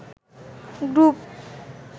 group